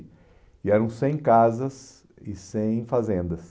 E eram cem casas e cem fazendas.